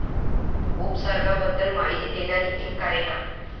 उपसर्गाबद्दल माहिती देणारी एक कारिका